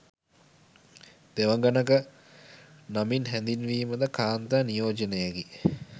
දෙවඟනක නමින් හැඳින්වීම ද කාන්තා නියෝජනයකි.